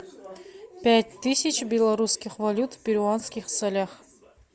пять тысяч белорусских валют в перуанских солях